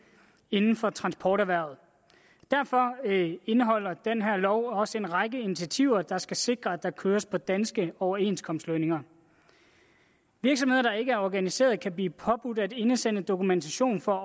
inden for transporterhvervet derfor indeholder den her lov også en række initiativer der skal sikre at der køres på danske overenskomstlønninger virksomheder der ikke er organiseret kan blive påbudt at indsende dokumentation for